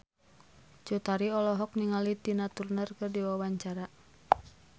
Cut Tari olohok ningali Tina Turner keur diwawancara